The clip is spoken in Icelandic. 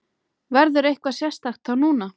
Verður eitthvað sérstakt þá núna?